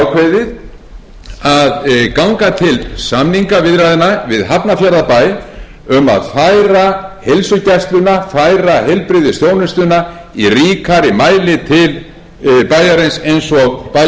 ég ákveðið að ganga til samningaviðræðna við hafnarfjarðarbæ um að færa heilsugæsluna færa heilbrigðisþjónustuna í ríkari mæli til bæjarins eins og bæjaryfirvöld hafa margítrekað óskað eftir varðandi